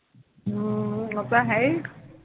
ਹਾਂ, ਓਹ ਤਾਂ ਹੈ ਹੀਂ